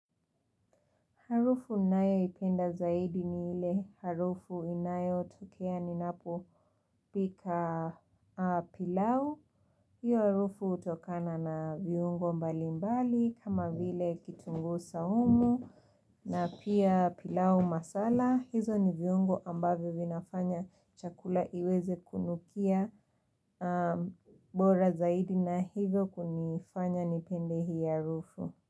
Harufu ninayoipenda zaidi ni ile harufu inayo tokea ninapo pika pilau. Hiyo harufu utokana na viungo mbali mbali kama vile kitungu saumu na pia pilau masala. Hizo ni viungo ambavyo vinafanya chakula iweze kunukia bora zaidi na hivyo kunifanya nipende hiyo harufu.